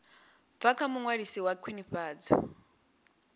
bva kha muṅwalisi wa khwinifhadzo